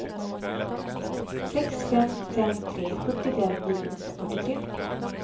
sex fem fem tre sjuttiofem niohundrafyrtiotre